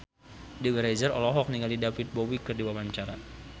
Dewi Rezer olohok ningali David Bowie keur diwawancara